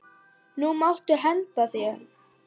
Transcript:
Nú máttu henda þeim.